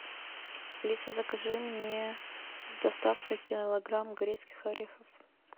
алиса закажи мне с доставкой килограмм грецких орехов